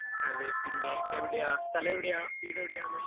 അതെ. പിന്നെ, എവിടെയാ? സ്ഥലം എവിടെയാ? വീട് എവിടെയാണ്?